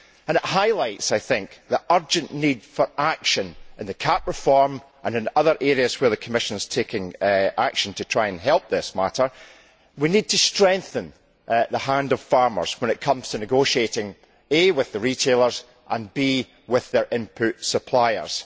This highlights the urgent need for action in the CAP reform and in other areas where the Commission is taking action to try and help this matter. We need to strengthen the hand of farmers when it comes to negotiating with the retailers, and with their input suppliers.